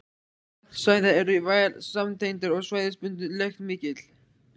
Vatnsæðar eru vel samtengdar og svæðisbundin lekt mikil.